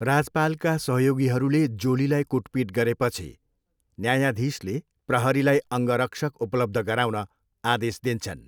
राजपालका सहयोगीहरूले जोलीलाई कुटपिट गरेपछि न्यायाधीशले प्रहरीलाई अङ्गरक्षक उपलब्ध गराउन आदेश दिन्छन्।